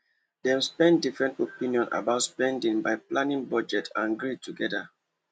dem settle different opinion about spending by planning budget and gree together